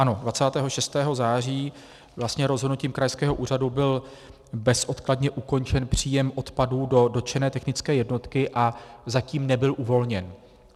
Ano, 26. září vlastně rozhodnutím krajského úřadu byl bezodkladně ukončen příjem odpadů do dotčené technické jednotky a zatím nebyl uvolněn.